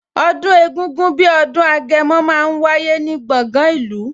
Ọdún egungun bí ọdún Agẹmọ máa ń wáyé ní gbọ̀ngan ìlú